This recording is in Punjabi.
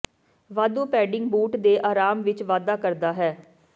ਵਾਧੂ ਪੈਡਿੰਗ ਬੂਟ ਦੇ ਆਰਾਮ ਵਿਚ ਵਾਧਾ ਕਰਦਾ ਹੈ